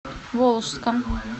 волжском